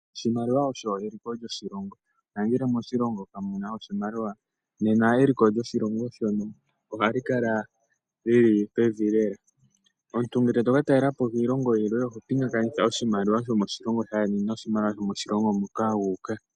Oshimaliwa osho eliko lyoshilongo nangele moshilongo kamuna oshimaliwa nena eliko lyoshilongo ohali kala lili pevi lela .Omuntu ngele toka talela po kiilongo yimwe oho pinga kakanitha oshimaliwa shomoshilongo shaandjeni nomoshilongo hoka wuuka.